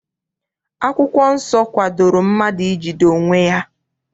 Akwụkwọ nsọ kwadoro mmadụ ijide onwe ya.